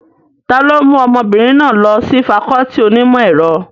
Ta ló mú ọmọbìnrin náà lọ sí fakọọti onímọ̀ ẹ̀rọ?